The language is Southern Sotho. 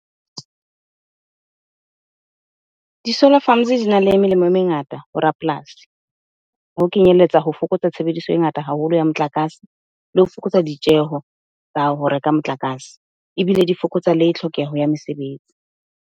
Di-solar farms dina le melemo e mengata ho rapolasi. Ho kenyelletsa ho fokotsa tshebediso e ngata haholo ya motlakase, le ho fokotsa ditjeho tsa ho reka motlakase ebile di fokotsa le tlhokeho ya mesebetsi.